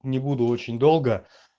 не буду очень долго